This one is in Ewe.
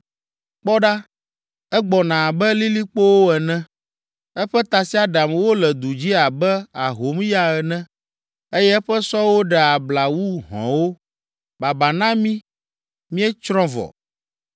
Kpɔ ɖa! Egbɔna abe lilikpowo ene, eƒe tasiaɖamwo le du dzi abe ahomya ene eye eƒe sɔwo ɖea abla wu hɔ̃wo. Baba na mí! Míetsrɔ̃ vɔ!